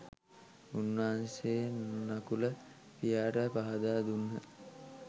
උන්වහන්සේ නකුල පියාට පහදා දුන්හ.